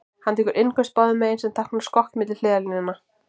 Hann tekur innköst báðum megin, sem táknar skokk milli hliðarlína.